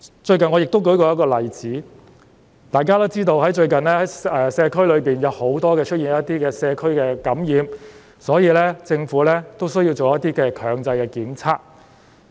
最近，我曾舉出一個例子，大家都知道，最近社區內出現很多感染個案，所以，政府需要做一些強制檢測。